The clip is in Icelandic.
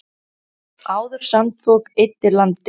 Áður sandfok eyddi landi.